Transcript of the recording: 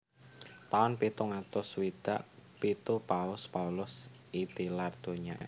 Taun pitung atus swidak pitu Paus Paulus I tilar donya